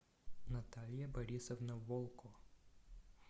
наталья борисовна волко